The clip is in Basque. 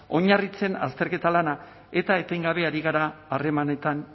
oinarritzen azterketa lana eta etengabe ari gara harremanetan